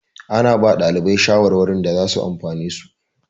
Ana ba ɗalibai shawarwari da zasu amfane su.